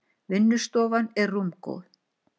Vinnustofan er rúmgóð.